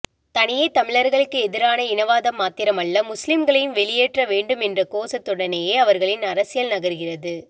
தனியே தமிழர்களுக்கு எதிரான இனவாதம் மாத்திரமல்ல முஸ்லிம்களையும் வெளியேற்ற வேண்டும் என்ற கோசத்த்துடனேயே அவர்களின் அரசியல் நகர்கிறது